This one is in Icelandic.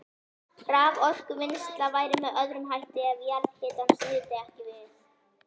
Raforkuvinnsla væri með öðrum hætti ef jarðhitans nyti ekki við.